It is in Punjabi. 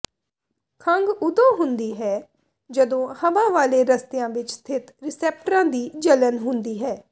ਖੰਘ ਉਦੋਂ ਹੁੰਦੀ ਹੈ ਜਦੋਂ ਹਵਾ ਵਾਲੇ ਰਸਤਿਆਂ ਵਿੱਚ ਸਥਿਤ ਰੀਸੈਪਟਰਾਂ ਦੀ ਜਲਣ ਹੁੰਦੀ ਹੈ